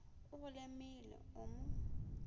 o go lemile o mo